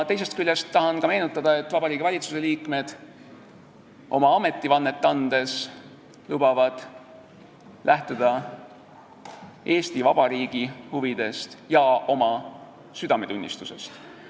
Teisest küljest tahan meenutada, et Vabariigi Valitsuse liikmed oma ametivannet andes lubavad lähtuda Eesti Vabariigi huvidest ja oma südametunnistusest.